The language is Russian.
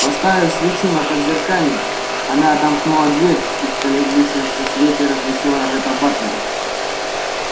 поставив свечу на подзеркальник она отомкнула дверь и в колеблющемся свете различила ретта батлера